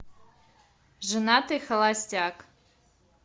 женатый холостяк